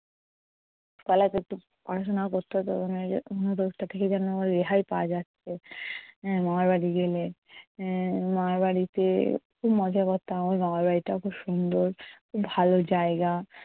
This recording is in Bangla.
পড়াশোনা করতে হতো না রেহাই পাওয়া যাচ্ছে, মামারবাড়ি গেলে আহ মামার বাড়িতে খুব মজা করতাম। আমার মামার বাড়িটাও খুব সুন্দর খুব ভালো জায়গা।